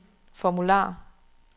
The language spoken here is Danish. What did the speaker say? formular